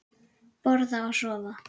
Borða og sofa.